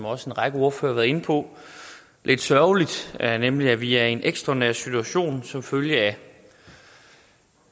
også en række ordførere har været inde på lidt sørgelig nemlig at vi er i en ekstraordinær situation som følge af